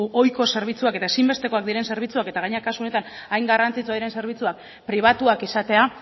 ohiko zerbitzuak eta ezinbestekoak diren zerbitzuak eta gainera kasu honetan hain garrantzitsuak diren zerbitzuak pribatuak izatea